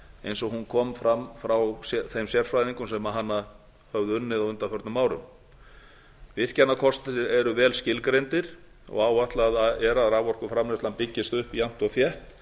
eins og hún kom fram frá þeim sérfræðingum sem hana höfðu unnið á undanförnum árum virkjanakostir eru vel skilgreindir og áætlað er að raforkuframleiðslan byggist upp jafnt og þétt